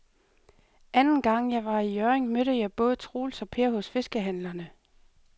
Anden gang jeg var i Hjørring, mødte jeg både Troels og Per hos fiskehandlerne.